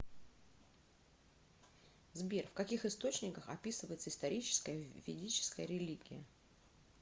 сбер в каких источниках описывается историческая ведическая религия